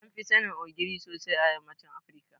Anfi sanin Ogiri sosai a yammacin Afirika.